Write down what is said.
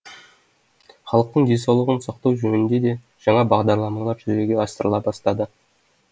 халықтың денсаулығын сақтау жөнінде де жаңа бағдарламалар жүзеге асырыла бастады